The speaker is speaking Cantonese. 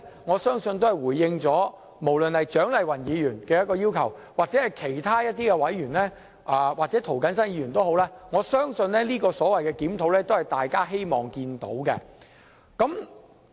我相信這是政府回應蔣麗芸議員、涂謹申議員或其他委員的要求，我相信這個檢討也是大家希望見到的。